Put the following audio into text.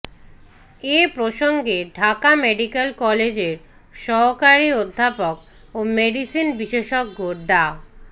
এ প্রসঙ্গে ঢাকা মেডিকেল কলেজের সহকারী অধ্যাপক ও মেডিসিন বিশেষজ্ঞ ডা